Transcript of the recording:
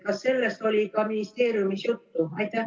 Kas sellest oli ka ministeeriumis juttu?